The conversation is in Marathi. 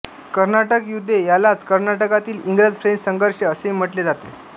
कर्नाटक युद्धे यालाच कर्नाटकातील इंग्रजफ्रेंच संघर्ष असेही म्हटले जाते